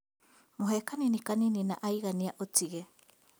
Mũhe kanini kanini na aigania ũtige